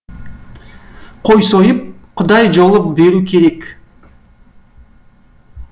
қой сойып құдай жолы беру керек